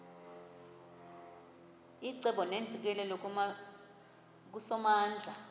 icebo neentsikelelo kusomandla